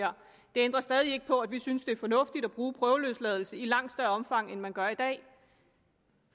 ændrer stadig ikke på at vi synes det er fornuftigt at bruge prøveløsladelse i langt større omfang end man gør i dag